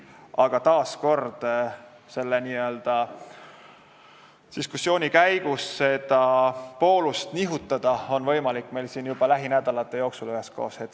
Aga taas kord, selle diskussiooni käigus seda poolust nihutada on meil siin üheskoos võimalik juba lähinädalate jooksul.